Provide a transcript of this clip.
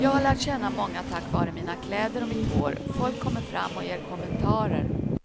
Jag har lärt känna många tack vare mina kläder och mitt hår, folk kommer fram och ger kommentarer.